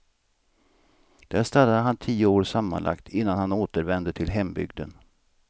Där stannade han tio år sammanlagt, innan han återvände till hembygden.